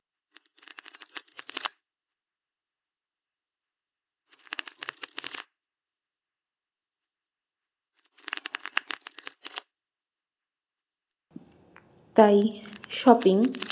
তাই shopping